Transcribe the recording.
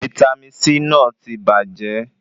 Vítámì C náà ti bàjẹ́